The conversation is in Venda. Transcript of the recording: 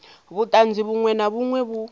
vhuṱanzi vhuṅwe na vhuṅwe vhu